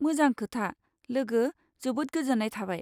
मोजां खोथा, लोगो, जोबोद गोजोन्नाय थाबाय।